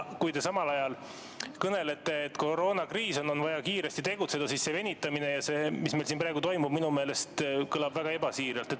Kui te samal ajal kõnelete, et on koroonakriis, on vaja kiiresti tegutseda, siis see, vaadates seda venitamist ja seda, mis siin praegu toimub, kõlab minu meelest väga ebasiiralt.